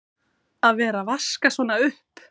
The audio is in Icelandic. Að vera að vaska svona upp!